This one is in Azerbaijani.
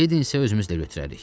Ledi isə özümüzlə götürərik.